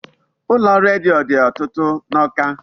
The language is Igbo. Ụlọ redio dị ọtụtụ n'Awka.